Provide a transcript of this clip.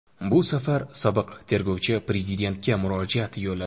Bu safar sobiq tergovchi Prezidentga murojaat yo‘lladi.